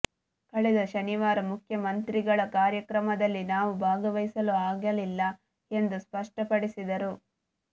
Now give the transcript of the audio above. ಕಳೆದ ಶನಿವಾರ ಮುಖ್ಯಮಂತ್ರಿಗಳ ಕಾರ್ಯಕ್ರಮದಲ್ಲಿ ನಾವು ಭಾಗವಹಿಸಲು ಆಗಲಿಲ್ಲ ಎಂದು ಸ್ಪಷ್ಟಪಡಿಸಿದರು